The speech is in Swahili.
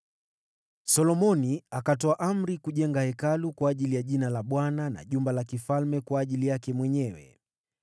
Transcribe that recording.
Solomoni akatoa amri kujenga Hekalu kwa ajili ya Jina la Bwana na jumba la kifalme kwa ajili yake mwenyewe.